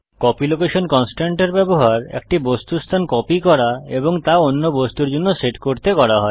copy location constraint এর ব্যবহার একটি বস্তুর স্থান কপি করা এবং তা অন্য বস্তুর জন্য সেট করতে করা হয়